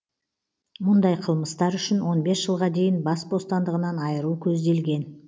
мұндай қылмыстар үшін он бес жылға дейін бас бостандығынан айыру көзделген